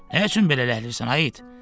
Nə üçün belə ləhləyirsən ay it?